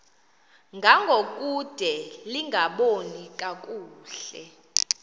ngangokude lingaboni kakuhle